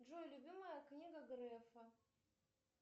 джой любимая книга грефа